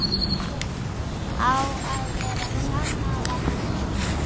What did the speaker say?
Á að vera sammála henni.